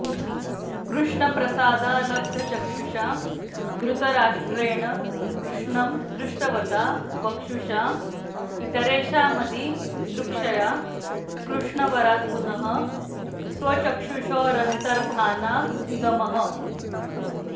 कृष्णप्रसादाल्लब्धचक्षुषा धृतराष्ट्रेण कृष्णं दृष्टवता वक्षुषा इतरेषामदि दृक्षया कृष्णवरात्पुनः स्वचक्षुषोरन्तर्धानाधिगमः